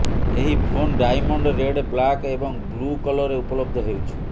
ଏହି phone diamond red black ଏବଂ blue କଲରେ ଉପଲବ୍ଧ ହେଉଛି